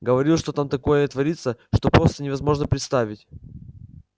говорил что там такое творится что просто невозможно представить